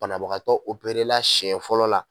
Banabagatɔ operela siɲɛ fɔlɔ la.